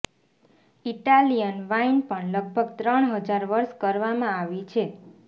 Italian wine પણ લગભગ ત્રણ હજાર વર્ષ કરવામાં આવી છે